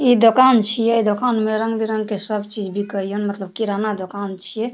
इ दोकान छीये दोकान में रंग-बिरंग के सब चीज बिकय ये मतलब किराना दोकान छै।